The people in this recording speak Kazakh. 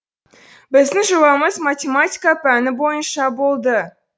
біздің жобамыз математика пәні бойынша болды